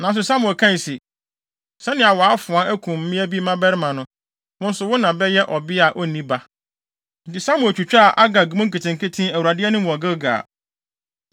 Nanso Samuel kae se, “Sɛnea wʼafoa akum mmea bi mmabarima no, wo nso wo na bɛyɛ ɔbea a onni ba.” Enti Samuel twitwaa Agag mu nketenkete Awurade anim wɔ Gilgal.